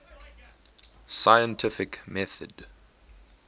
scientific method